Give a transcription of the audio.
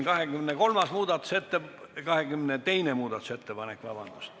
Vabandust, see on 22. muudatusettepanek.